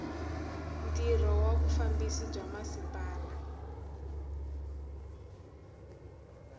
ntirho wa vufambisi bya masipala